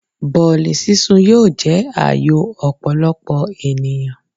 Bọ̀ọ̀lì sún sun yóò jẹ́ à yò ọ̀pọ̀lọpọ̀ ènìyàn.